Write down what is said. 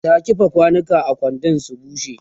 ta kifa kwanukan a kwando su bushe